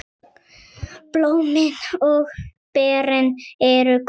Blómin og berin eru hvít.